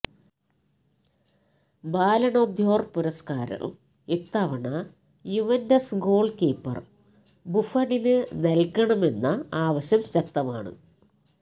Ballon d'Or പുരസ്കാരം ഇത്തവണ Juventus goalkeeper ബുഫണിന് നല്കണമെന്ന ആവശ്യം ശക്തമാണ്